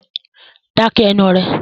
Dá ké ẹnu rẹ!